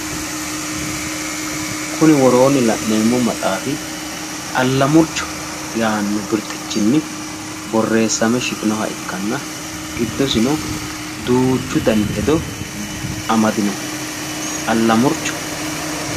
Kuni woroonni la'neemmo maxaaffi allamurcho yaaanno birxxichinni borreesame shiqinoha ikkanna giddosino duuchu dani hedo amadino. allamurcho.